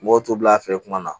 Mɔgɔw t'u bila a fɛ kuma na